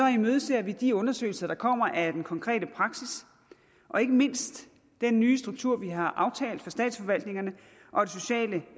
imødeser vi de undersøgelser der kommer af den konkrete praksis og ikke mindst den nye struktur vi har aftalt for statsforvaltningerne og